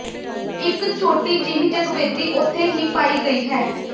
ਇਕ ਛੋਟੀ ਜਿਹੀ ਜਗਵੇਦੀ ਉੱਥੇ ਵੀ ਪਾਈ ਗਈ ਹੈ